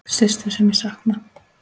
Systur sem ég sakna.